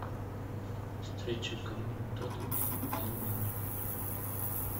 встреча команд тоттенхэм и ливерпуль